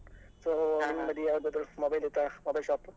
So ನಿಮ್ಮ್ ಬದಿ ಯಾವ್ದಾದ್ರು mobile ಇತ್ತಾ mobile shop .